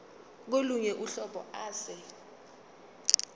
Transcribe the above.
kolunye uhlobo ase